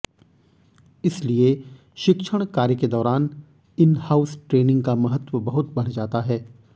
इसीलिए शिक्षण कार्य के दौरान इन हाउस ट्रेनिंग का महत्व बहुत बढ़ जाता है